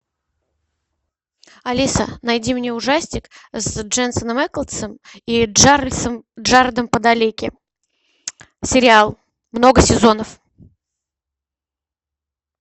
алиса найди мне ужастик с дженсеном эклсом и джаредом падалеки сериал много сезонов